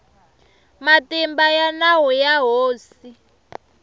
matimba ya nawu ya hosi